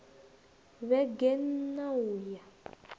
vhege n ṋ a uya